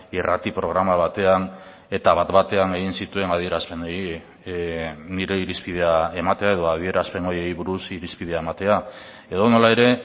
irrati programa batean eta bat batean egin zituen adierazpenei nire irizpidea ematea edo adierazpen horiei buruz irizpidea ematea edonola ere